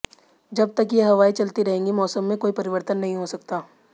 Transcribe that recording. जब तक ये हवाएं चलती रहेंगी मौसम में कोई परिवर्तन नहीं हो सकता